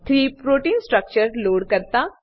થી proteins structure load કરતા